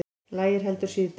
Lægir heldur síðdegis